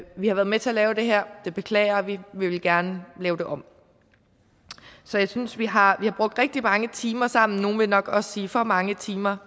vi har været med til at lave det her det beklager vi og vi vil gerne lave det om så jeg synes vi har brugt rigtig mange timer sammen nogle vil nok også sige for mange timer